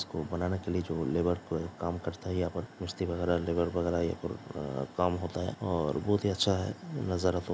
इस को बनाने के लिए जो लेबर को काम करता है यहां पर मस्ती वगैरा लेबर वगैरा यहां पर काम होता है और बहुत ही अच्छा है नजर रखो।